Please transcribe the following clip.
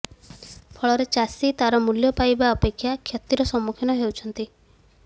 ଫଳରେ ଚାଷୀ ତାର ମୂଲ୍ୟ ପାଇବା ଅପେକ୍ଷା କ୍ଷତିର ସମ୍ମୁଖୀନ ହେଉଛନ୍ତି